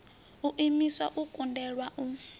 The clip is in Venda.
u imiswa u kundelwa u